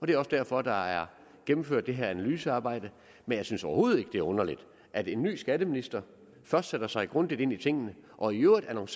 det er også derfor der er gennemført det her analysearbejde men jeg synes overhovedet ikke det er underligt at en ny skatteminister først sætter sig grundigt ind i tingene og i øvrigt